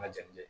Ma janni kɛ